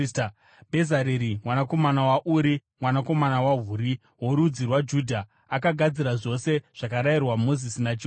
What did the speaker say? Bhezareri mwanakomana waUri, mwanakomana waHuri, worudzi rwaJudha, akagadzira zvose zvakarayirwa Mozisi naJehovha;